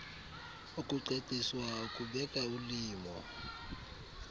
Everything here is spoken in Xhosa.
ukucaciswa ukubeka ulimo